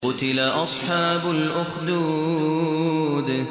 قُتِلَ أَصْحَابُ الْأُخْدُودِ